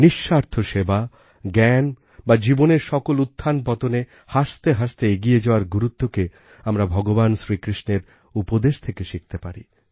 নিস্বার্থ সেবা জ্ঞান বা জীবনের সকল উত্থানপতনে হাসতে হাসতে এগিয়ে যাওয়ার গুরুত্বকে আমরা ভগবান শ্রীকৃষ্ণের উপদেশ থেকে শিখতে পারি